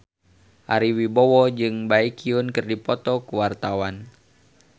Ari Wibowo jeung Baekhyun keur dipoto ku wartawan